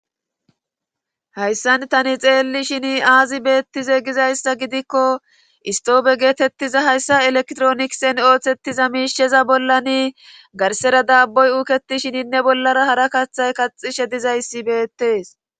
Hayssan tani xeelli shini aazi beettize gizayssa gidikko istoofe geetettiza hayssa elektronikisen ooththettiza miisheza bollani garsera daaboy uuketi shininne bollara hara kaththay kaxishe dizayssi beettees.